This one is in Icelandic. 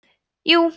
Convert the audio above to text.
jú